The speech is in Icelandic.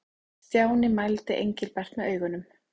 Stjáni mældi Engilbert með augunum.